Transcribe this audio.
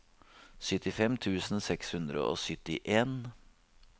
syttifem tusen seks hundre og syttien